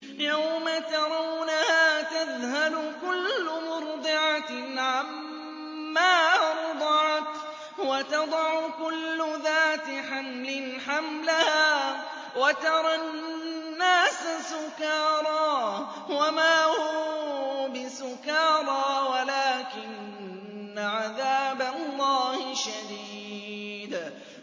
يَوْمَ تَرَوْنَهَا تَذْهَلُ كُلُّ مُرْضِعَةٍ عَمَّا أَرْضَعَتْ وَتَضَعُ كُلُّ ذَاتِ حَمْلٍ حَمْلَهَا وَتَرَى النَّاسَ سُكَارَىٰ وَمَا هُم بِسُكَارَىٰ وَلَٰكِنَّ عَذَابَ اللَّهِ شَدِيدٌ